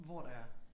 Hvor der er